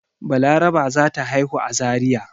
Balaraba za ta haihu a Zariya.